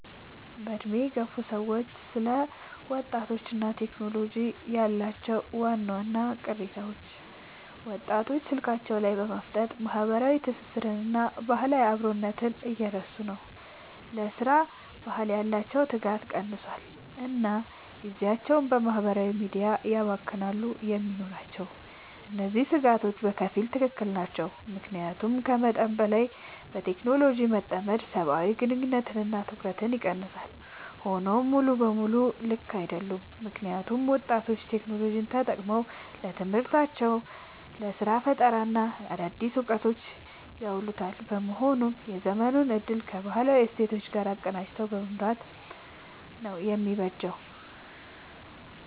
በዕድሜ የገፉ ሰዎች ስለ ወጣቶችና ቴክኖሎጂ ያላቸው ዋና ቅሬታዎች፦ ወጣቶች ስልካቸው ላይ በማፍጠጥ ማህበራዊ ትስስርንና ባህላዊ አብሮነትን እየረሱ ነው: ለሥራ ባህል ያላቸው ትጋት ቀንሷል: እና ጊዜያቸውን በማህበራዊ ሚዲያ ያባክናሉ የሚሉ ናቸው። እነዚህ ስጋቶች በከፊል ትክክል ናቸው። ምክንያቱም ከመጠን በላይ በቴክኖሎጂ መጠመድ ሰብአዊ ግንኙነቶችንና ትኩረትን ይቀንሳል። ሆኖም ሙሉ በሙሉ ልክ አይደሉም: ምክንያቱም ወጣቶች ቴክኖሎጂን ተጠቅመው ለትምህርታቸው: ለስራ ፈጠራና ለአዳዲስ እውቀቶች እያዋሉት በመሆኑ የዘመኑን እድል ከባህላዊ እሴቶች ጋር አቀናጅቶ መምራት ነው የሚበጀው።